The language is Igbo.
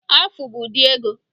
Afu bụ ụdị ego